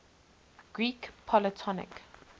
greek polytonic